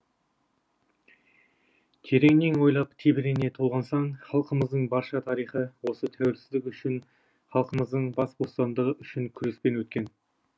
тереңнен ойлап тебірене толғансаң халқымыздың барша тарихы осы тәуелсіздік үшін халқымыздың бас бостандығы үшін күреспен өткен